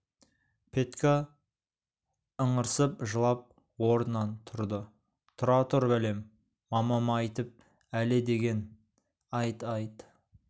петька ыңырсып жылап орнынан тұрды тұра тұр бәлем мамама айтам әлі деген айт айт